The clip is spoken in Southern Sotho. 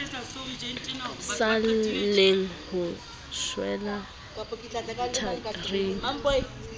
sa lleng o shwela tharing